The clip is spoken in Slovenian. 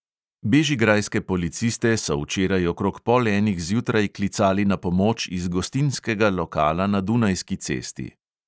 Bežigrajske policiste so včeraj okrog pol enih zjutraj klicali na pomoč iz gostinskega lokala na dunajski cesti.